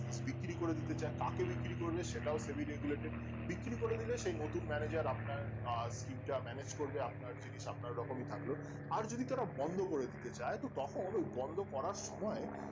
বিক্রি করে দিতে চাই কাকে বিক্রি করবে সেটাও heavy regulated বিক্রি করে দিলে সেই নতুন manager আপনার আহ team টা manage করবে আপনার জিনিস আপনার রকমই থাকলো আর যদি তারা বন্ধ করে দিতে চাই তো তখন ওই বন্ধ করার সময়